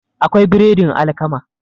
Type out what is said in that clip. akwai biredin alkama